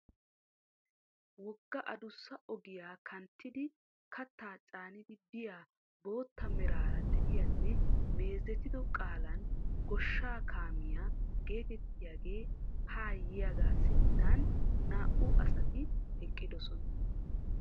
Wogga adussa ogiya kanttidi kattaa caanidi biya bootta meraara de'iyanne meezetido qaalan goosha kaamia geetettiyagee haa yiyagaa sinttan naa"u asati ekkidosona.